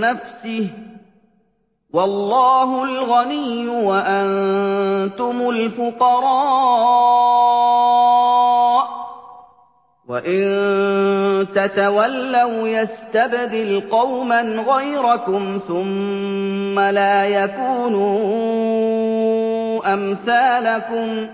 نَّفْسِهِ ۚ وَاللَّهُ الْغَنِيُّ وَأَنتُمُ الْفُقَرَاءُ ۚ وَإِن تَتَوَلَّوْا يَسْتَبْدِلْ قَوْمًا غَيْرَكُمْ ثُمَّ لَا يَكُونُوا أَمْثَالَكُم